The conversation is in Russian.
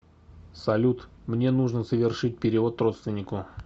салют мне нужно совершить перевод родственнику